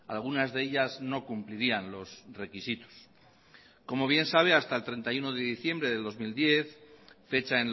algunas de ellas no cumplirían los requisitos como bien sabe hasta el treinta y uno de diciembre del dos mil diez fecha